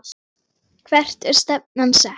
Hvert er stefnan sett?